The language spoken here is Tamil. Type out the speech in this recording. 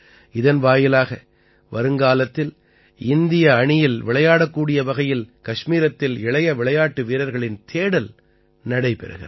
இதன் வாயிலாக வருங்காலத்தில் இந்திய அணியில் விளையாடக்கூடிய வகையில் கஷ்மீரத்தில் இளைய விளையாட்டு வீரர்களின் தேடல் நடைபெறுகிறது